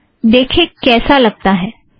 आओ देखें कैसा लगता है